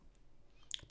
DR1